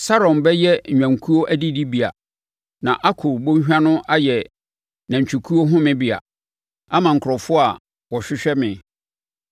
Saron bɛyɛ nnwankuo adidibea, na Akɔr bɔnhwa no ayɛ anantwikuo homebea, ama me nkurɔfoɔ a wɔhwehwɛ me.